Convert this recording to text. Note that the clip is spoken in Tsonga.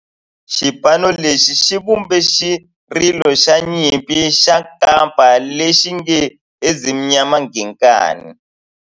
Xipano lexi xi vumbe xirilo xa nyimpi xa kampa lexi nge 'Ezimnyama Ngenkani'.